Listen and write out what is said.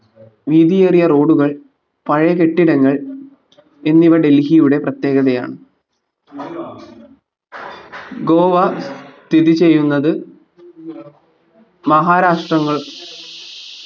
വീതിയേറിയ road കൾ പഴയ കെട്ടിടങ്ങൾ എന്നിവ ഡൽഹിയുടെ പ്രത്യേഗതയാണ് ഗോവ സ്ഥിതിചെയ്യുന്നത് മഹാരാഷ്ട്രങ്ങൾ